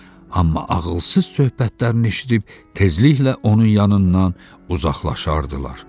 Amma ağılsız söhbətlərini eşidib təzliklə onun yanından uzaqlaşardılar.